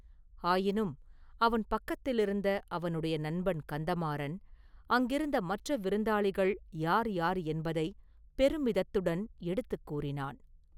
ஆயினும் அவன் பக்கத்திலிருந்த அவனுடைய நண்பன் கந்தமாறன் அங்கிருந்த மற்ற விருந்தாளிகள் யார் யார் என்பதை பெருமிதத்துடன் எடுத்துக் கூறினான்.